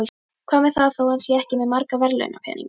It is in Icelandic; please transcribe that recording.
Hvað með það þó hann sé ekki með marga verðlaunapeninga?